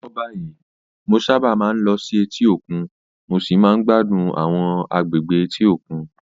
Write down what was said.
Lọ́wọ́lọ́wọ́ báyìí, mo sábà máa ń lọ sí etí òkun mo sì máa ń gbádùn àwọn agbègbè etíkun.